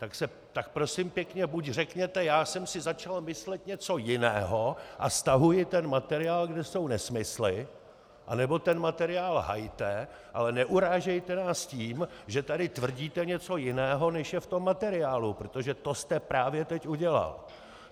Tak prosím pěkně, buď řekněte "já jsem si začal myslet něco jiného a stahuji ten materiál, kde jsou nesmysly", anebo ten materiál hajte, ale neurážejte nás tím, že tady tvrdíte něco jiného, než je v tom materiálu, protože to jste právě teď udělal.